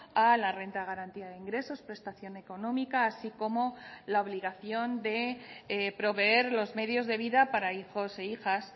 a la renta de garantía de ingresos prestación económica así como la obligación de proveer los medios de vida para hijos e hijas